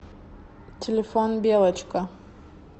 телефон белочка